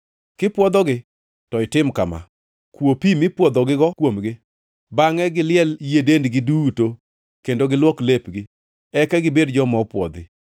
Kipwodhogi, to itim kama: Kwo pi mipwodhogigo kuomgi; bangʼe giliel yie dendgi duto kendo giluok lepgi, eka gibed joma opwodhi.